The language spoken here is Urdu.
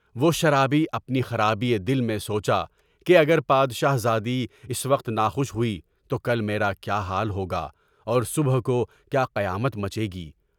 وہ شرابی اپنی خرابی دل میں سوچا کہ اگر پادِ شاہ زادی اس وقت ناخوش ہوئی تو کل میرا کیا حال ہوگا اور صبح کو کیا قیامت مچے گی؟